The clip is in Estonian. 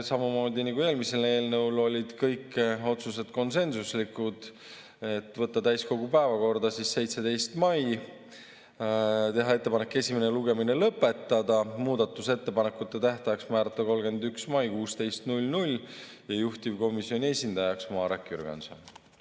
Samamoodi nagu eelmise eelnõu puhul olid kõik otsused konsensuslikud: võtta täiskogu päevakorda 17. mail, teha ettepanek esimene lugemine lõpetada, muudatusettepanekute tähtajaks määrata 31. mai kell 16, juhtivkomisjoni esindajaks määrati Marek Jürgenson.